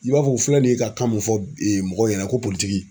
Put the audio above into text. I b'a fɔ u filɛ nin ye ka kan mun fɔ ee mɔgɔw ɲɛnɛ ko politigi